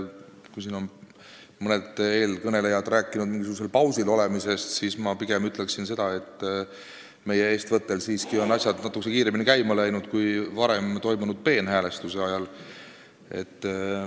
Kui mõni eelkõneleja on rääkinud mingisugusel pausil olemisest, siis mina pigem ütleksin, et meie eestvõttel on asjad siiski natukese kiiremini käima läinud kui varem toimunud peenhäälestuse ajal.